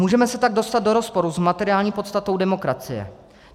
Můžeme se tak dostat do rozporu s materiální podstatou demokracie.